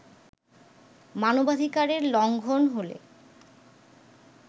মানবাধিকারের লঙ্ঘন হলে